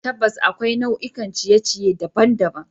Tabbas, akwai nau'ikan ciye-ciye daban-daban.